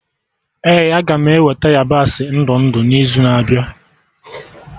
Ee aga m eweta yabasị ndụ ndụ n'izu na-abịa